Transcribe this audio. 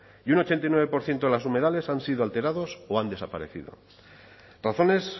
y un ochenta y nueve por ciento de los humedales han sido alterados o han desaparecido razones